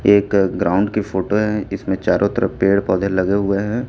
एक ग्राउंड की फोटो है इसमें चारों तरफ पेड़ पौधे लगे हुए हैं।